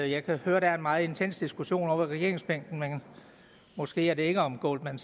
jeg kan høre at der er en meget intens diskussion ovre ved regeringsbænkene men måske er det ikke om goldman